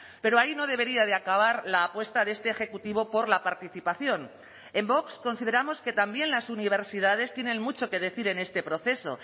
pero ahí no debería de acabar la apuesta de este ejecutivo por la participación en vox consideramos que también las universidades tienen mucho que decir en este proceso